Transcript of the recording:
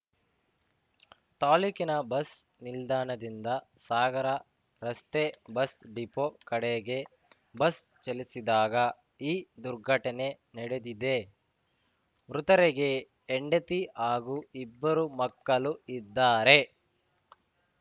ತಾಲೂಕಿನ ಬಸ್‌ ನಿಲ್ದಾಣದಿಂದ ಸಾಗರ ರಸ್ತೆ ಬಸ್‌ ಡಿಪೋ ಕಡೆಗೆ ಬಸ್‌ ಚಲಿಸಿದಾಗ ಈ ದುರ್ಘಟನೆ ನಡೆದಿದೆ ಮೃತರಿಗೆ ಹೆಂಡತಿ ಹಾಗೂ ಇಬ್ಬರು ಮಕ್ಕಳು ಇದ್ದಾರೆ